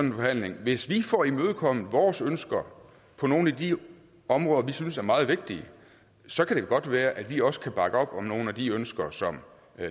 en forhandling hvis vi får imødekommet vores ønsker på nogle af de områder vi synes er meget vigtige så kan det godt være at vi også kan bakke op om nogle af de ønsker som